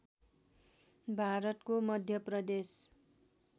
भारतको मध्य प्रदेश